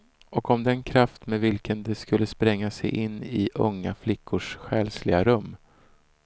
Och om den kraft med vilken de skulle spränga sig in i unga flickors själsliga rum.